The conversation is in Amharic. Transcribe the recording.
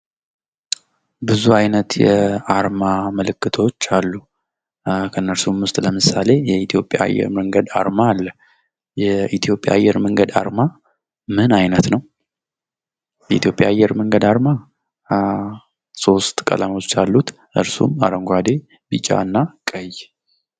ብዙ አይነት የአርማ ምልክቶች አሉ ከነሱም ውስጥ ለምሳሌ የኢትዮጵያ አየር መንገድ አርማ አለ። የኢትዮጵያ አየር መንገድ አርማ ምን አይነት ነው? የኢትዮጵያ አየር መንገድ አርማ ሶስት ቀለማቶች አሉት። እነርሱም አረንጓዴ፣ ቢጫ እና ቀይ ።